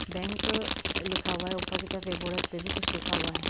Bank लिखा हुआ है ऊपर की तरफ एक बोर्ड पे भी कुछ लिखा हुआ है।